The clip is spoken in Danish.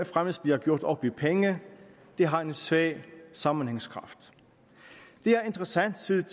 fremmest bliver gjort op i penge har en svag sammenhængskraft det er interessant set